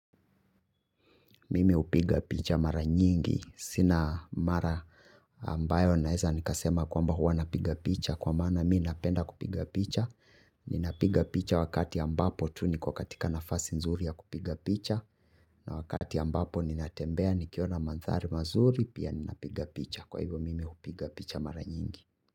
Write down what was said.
Mimi hupiga picha mara nyingi. Sina mara ambayo naweza nikasema kwamba huwa napiga picha kwa maana mi napenda kupiga picha. Ninapiga picha wakati ambapo tu ni kwa katika nafasi nzuri ya kupiga picha. Na wakati ambapo ninatembea nikiona mandhari mazuri pia ninapiga picha. Kwa hivyo mimi hupiga picha mara nyingi.